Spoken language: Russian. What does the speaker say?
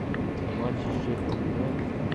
матчи шеффилд юнайтед